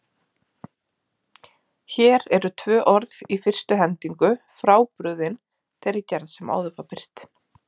Hér eru tvö orð í fyrstu hendingu frábrugðin þeirri gerð sem áður var birt.